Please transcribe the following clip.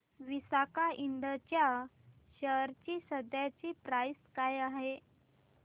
Visaka Ind च्या share ची सध्याची प्राइस काय आहे